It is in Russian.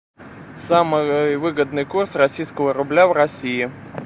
самый выгодный курс российского рубля в россии